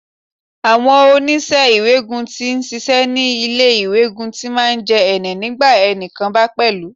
Àwọn oṣìṣẹ́ iwẹ́ẹ̀gùn tí ń ṣiṣẹ́ ní ilé iwẹ́ẹ̀gùn ti máa ń jẹ́ ẹnẹ́ nígbà ẹni kan bá pẹ́lú.